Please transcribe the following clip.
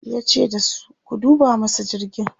yace dasu "ku duba masa jirgin!'